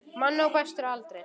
Menn á besta aldri.